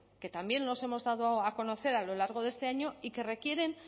que también nos hemos dado a conocer a lo largo de este año y que requieren